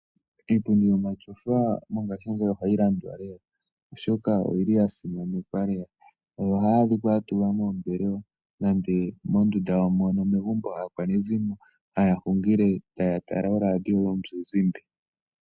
Iipundi yomashofa mongashingeyi ohayi landwa lela, oshoka oyili ya simanekwa lela. Ohayi adhikwa ya tulwa moombelewa nenge mondunda megumbo moka aakwanezimo taya hungile, taya tala oradio yomuzizimba.